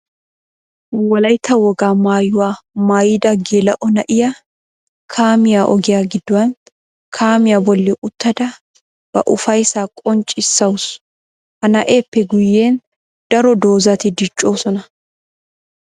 Wolaytta wogaa maayuwa maayida geela'o na'iyaa kaamiya ogiya gidduwan kaamiya bolli uttadda ba ufayssa qonccissawussu. Ha na'eeppe guyen daro doozati diccosonna.